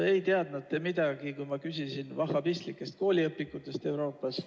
Ei teadnud te midagi, kui ma küsisin vahhabistlike kooliõpikute kohta Euroopas.